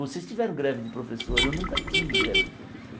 Vocês tiveram greve de professor, eu nunca tive greve de professor.